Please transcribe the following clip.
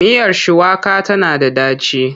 Miyar shuwaka tana da ɗaci.